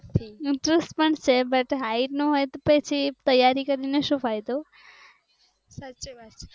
Interest પણ છે પણ height નો હોય તો પછી તૈયારી કરી ને શું ફાયદો